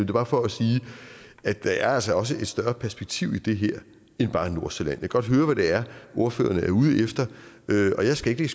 bare for at sige at der altså også er et større perspektiv i det her end bare nordsjælland jeg kan godt høre hvad det er ordføreren er ude efter og jeg skal ikke